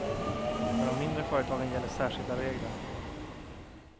För de mindre företagen gäller särskilda regler.